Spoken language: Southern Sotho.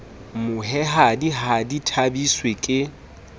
mohwehadi ha di thabiswe ke